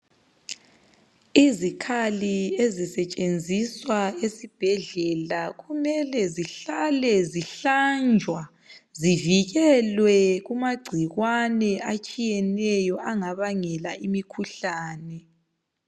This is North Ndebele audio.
Izikhali ezisetshenziswa esibhedlela kumele zihlale zihlanjwa, zivikelwe kumagcikwane atshiyeneyo angabangela imikhuhlane.